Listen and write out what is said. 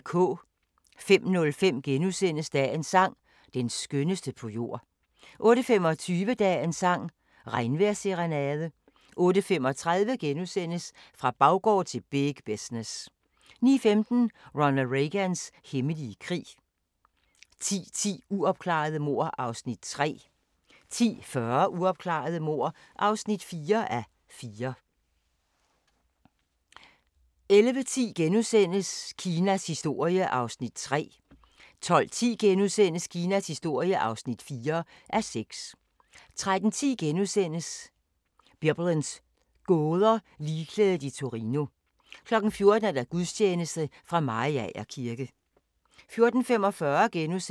05:05: Dagens sang: Den skønneste på jord * 08:25: Dagens sang: Regnvejrsserenade 08:35: Fra baggård til big business * 09:15: Ronald Reagans hemmelige krig 10:10: Uopklarede mord (3:6) 10:40: Uopklarede mord (4:6) 11:10: Kinas historie (3:6)* 12:10: Kinas historie (4:6)* 13:10: Biblens gåder – Ligklædet i Torino * 14:00: Gudstjeneste fra Mariager kirke